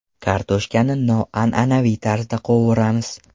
Kartoshkani noan’anaviy tarzda qovuramiz.